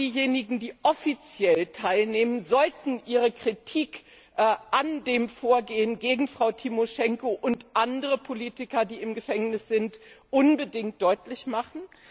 Alle diejenigen, die offiziell teilnehmen, sollten ihre Kritik an dem Vorgehen gegen Frau Timoschenko und andere Politiker, die im Gefängnis sind, unbedingt deutlich machen.